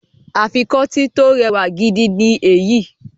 Afikọ́tí tó rẹwà gidi ni èyí